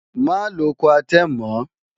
Má lo Coartem mọ́!